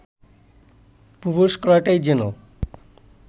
প্রবেশ করাটাই যেন